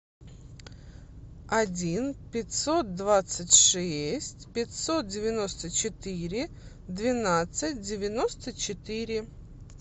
один пятьсот двадцать шесть пятьсот девяносто четыре двенадцать девяносто четыре